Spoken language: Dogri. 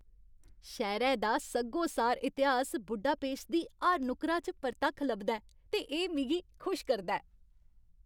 शैह्रै दा सग्गोसार इतिहास बुडापेस्ट दी हर नुक्करा च परतक्ख लभदा ऐ, ते एह् मिगी खुश करदा ऐ।